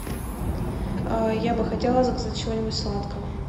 я бы хотела заказать чего нибудь сладкого